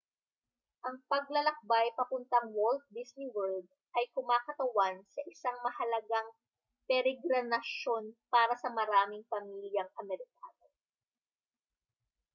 ang paglalakbay papuntang walt disney world ay kumakatawan sa isang mahalagang peregrinasyon para sa maraming pamilyang amerikano